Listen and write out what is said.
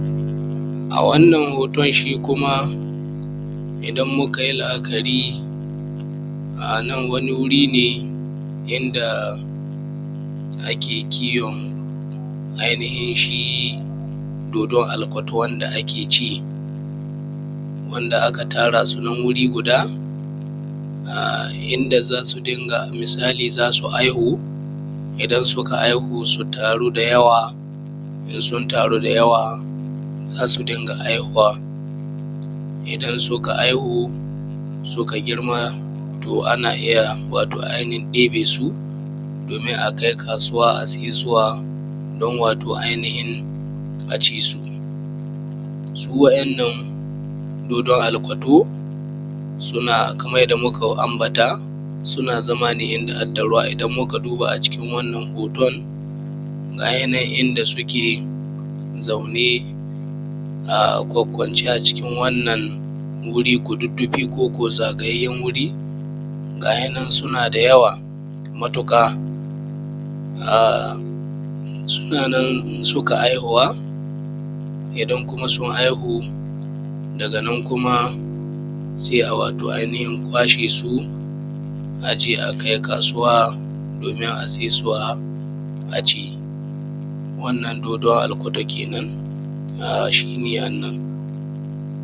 A wannan hoton shi kuma idan mukayi la’akari anan wani wuri ne yadda ake ai nihin shi dodon alkot wanda ake ci inda aka tarasu wuri guda yinda ai nihin wato zas haihu. In suka haihu su taru da yawa, in sun taru da yawa zasu dinga haihuwa. In suka haihu suka girma to ana iyya wato ai nihin ɗebesu domin a kai kasuwa a saisuwa dan wato ai nihin a cisu. Su wa ’yan nan dodon wato alkoto suna zama ne yadda dai muka ambata, suna zama ne yadda adda ruwa. Idan muka duba a cikin wannan hoton ga yinan inda suke zaune a kwakkwance a cikin wannan wuri kududdufi koko zagayayyen wuri ga yinan suna da yawa matuƙa. A suna nan suka haihuwa kuma sun haihu daga nan kuma sai a wato ai nihin kwashe su aje a kai kasuwa domin a saisuwa a ci wannan dodon alkoto kenan a shine annan.